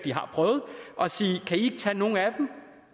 prøvet og sige kan i ikke tage nogle af dem